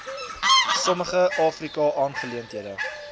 sommige afrika aangeleenthede